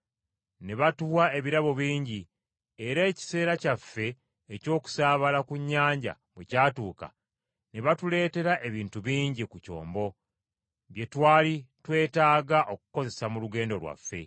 Ne batuwa ebirabo bingi, era ekiseera kyaffe eky’okusaabala ku nnyanja bwe kyatuuka, ne batuleetera ebintu bingi ku kyombo bye twali twetaaga okukozesa mu lugendo lwaffe.